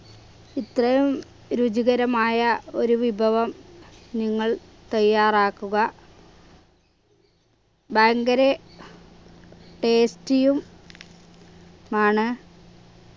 ഇത്രയും രുചികരമായ ഒരു വിഭവം നിങ്ങൾ തയ്യാറാക്കുക ഭയങ്കര tasty യും മാണ്